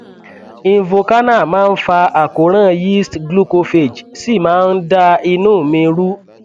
invokana máa ń fa àkóràn yeast glucophage sì máa ń da inú mi rú